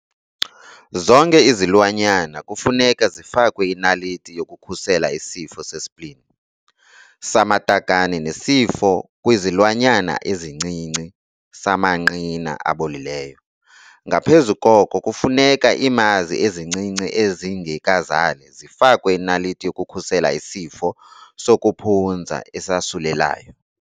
Zonke izilwanyana kufuneka zifakwe inaliti yokukhusela isifo se-spleen, samatakane nesifo kwizilwanyana ezincinci samanqina abolileyo. Ngaphezu koko kufuneka iimazi ezincinci ezingekazali zifakwe inaliti yokukhusela isifo sokuphunza esasulelayo.